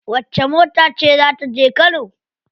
Wacce mota ce za ta je kano?